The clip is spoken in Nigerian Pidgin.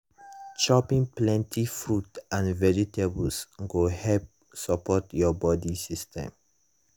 chopping plenty fruit and vegetables go help support your body system.